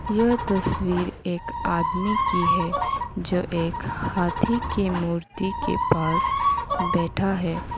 यह तस्वीर एक आदमी की है जो एक हाथी की मूर्ति के पास बैठा है।